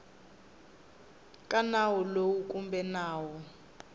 ka nawu lowu kumbe nawu